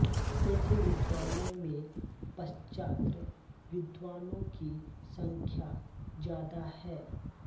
ऐसे विद्वानों में पाश्चात्य विद्वानों की संख्या ज्यादा है